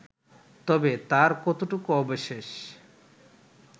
তবে তার কতটুকু অবশেষ